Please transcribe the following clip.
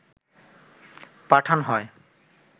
পাঠান হয়